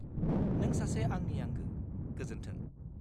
नों सासे आंनि आंगो! गोजोन्थों!